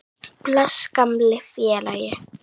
Bless, gamli félagi.